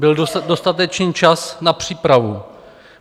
Byl dostatečný čas na přípravu.